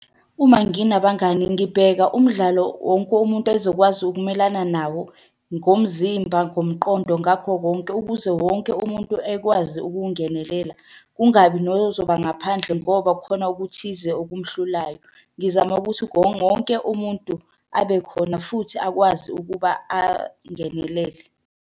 Uma nginabangani ngibheka umdlalo wonke umuntu ezokwazi ukumelana nawo ngomzimba, ngomqondo, ngakho konke, ukuze wonke umuntu ekwazi ukungenelela. Kungabi nozoba ngaphandle ngoba khona okuthize okumhlulayo. Ngizama ukuthi wonke umuntu abe khona futhi akwazi ukuba angenelele.